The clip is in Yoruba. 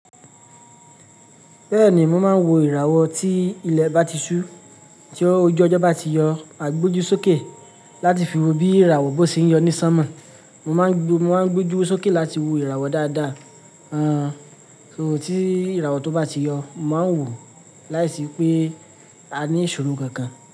Bẹ́ẹ̀ ni, mo máa ń wo ìràwọ̀ tí ilẹ̀ bá ti ṣú, tí ojú ọjọ́ bá ti yọ, maa gboju sókè láti fi wo bí ìràwọ̀ bó ṣe ń yọ ní sánmọ̀. Mo máa ń gbójú sókè láti wo ìràwọ̀ dáadáa. So tí ìràwọ̀ tó bá ti yọ, mo màá n wò ó láìsí pé a ní ìṣòro kankan.